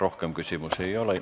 Rohkem küsimusi ei ole.